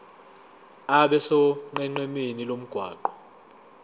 abe sonqenqemeni lomgwaqo